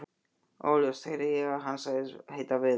Óljóst heyrði ég að hann sagðist heita Viðar.